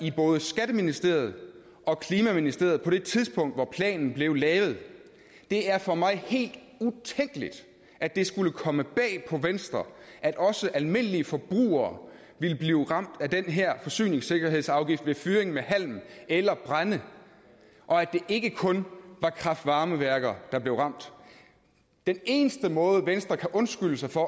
i både skatteministeriet og klimaministeriet på det tidspunkt hvor planen blev lavet det er for mig helt utænkeligt at det skulle komme bag på venstre at også almindelige forbrugere ville blive ramt af den her forsyningssikkerhedsafgift ved fyring med halm eller brænde og at det ikke kun var kraft varme værker der blev ramt den eneste måde venstre kan undskylde sig for